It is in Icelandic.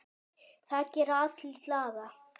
Það gerir alla glaða.